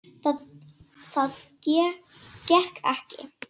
Það gekk ekki